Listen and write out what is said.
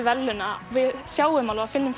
verðlauna við sjáum alveg og finnum